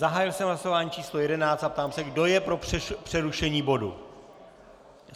Zahájil jsem hlasování číslo 11 a ptám se, kdo je pro přerušení bodu.